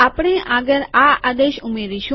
આપણે આગળ આ આદેશ ઉમેરીશું